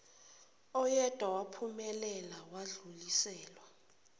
oyedwa waphumelela wadluliselwa